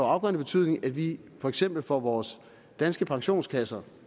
afgørende betydning at vi for eksempel får vores danske pensionskasser